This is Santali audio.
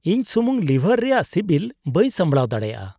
ᱤᱧ ᱥᱩᱢᱩᱝ ᱞᱤᱵᱷᱟᱨ ᱨᱮᱭᱟᱜ ᱥᱤᱵᱤᱞ ᱵᱟᱹᱧ ᱥᱟᱢᱵᱲᱟᱣ ᱫᱟᱲᱮᱭᱟᱜᱼᱟ ᱾